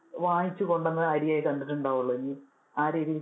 വാങ്ങിച്ചു കൊണ്ടുവന്ന അരിയെ കണ്ടിട്ടുണ്ടാവോളു ഇനി ആ രീതിയില്